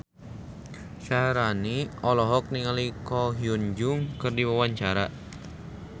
Syaharani olohok ningali Ko Hyun Jung keur diwawancara